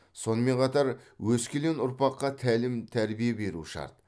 сонымен қатар өскелең ұрпаққа тәлім тәрбие беру шарт